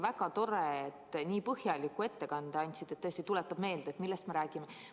Väga tore, et nii põhjaliku ettekande tegite, see tõesti tuletab meelde, millest me räägime.